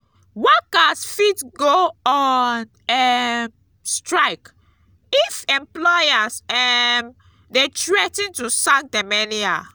workers fit go on um strike if employers um de threa ten to sack dem anyhow